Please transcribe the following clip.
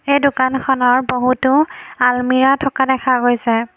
এই দোকানখনৰ বহুতো আলমিৰা থকা দেখা গৈছে।